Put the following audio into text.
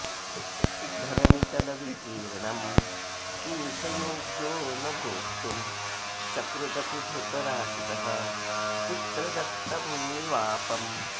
धरणितलविकीर्णं किं स योग्यो न भोक्तुं सकृदपि धृतराष्ट्रः पुत्रदत्तं निवापम्